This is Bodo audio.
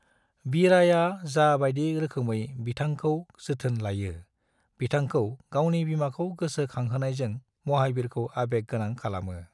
विराया जा बायदि रोखोमै बिथांखौ जोथोन लायो, बिथांखौ गावनि बिमाखौ गोसो खांहोनायजों महाबीरखौ आबेग गोनां खालामो।